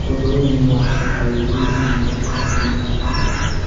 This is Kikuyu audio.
Ũndũ ũcio nĩ wakaga ũiguithania gatagatĩ-inĩ ka andũ.